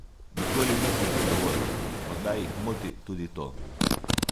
Nikoli nisem zadovoljen, morda jih moti tudi to.